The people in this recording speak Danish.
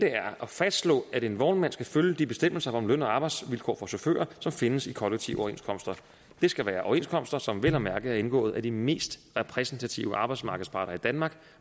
er at fastslå at en vognmand skal følge de bestemmelser om løn og arbejdsvilkår for chauffører som findes i kollektive overenskomster det skal være overenskomster som vel at mærke er indgået af de mest repræsentative arbejdsmarkedsparter i danmark